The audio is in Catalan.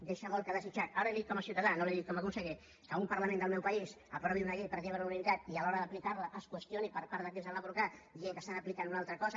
deixa molt a desitjar ara li ho dic com a ciutadà no li ho dic com a conseller que un parlament del meu país aprovi una llei pràcticament per unanimitat i a l’hora d’aplicar la es qüestioni per part d’aquells que la van aprovar dient que estan aplicant una altra cosa